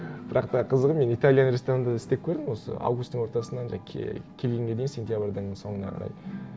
бірақ та қызығы мен италия ресторанында да істеп көрдім осы августтың ортасынан жаңа келгенге дейін сенябрьдің соңына қарай